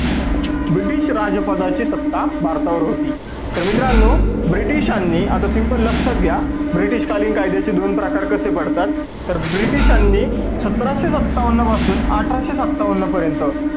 British राजसभा ची सत्ता भारतावर होती. मित्रांनो ब्रिटिशांनी आता तुमचं लक्ष द्या ब्रिटीश कालीन कायद्याचे दोन प्रकार कसे पडतात तर ब्रिटिशांनी सतराशे सत्तावन्न पासून अठराशे सत्तावन्न पर्यंत